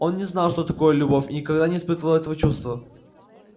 он не знал что такое любовь и никогда не испытывал этого чувства